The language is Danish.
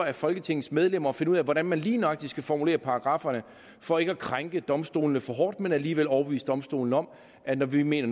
af folketingets medlemmer at finde ud af hvordan man lige nøjagtig skal formulere paragrafferne for ikke at krænke domstolene for hårdt men alligevel overbevise domstolene om at når vi mener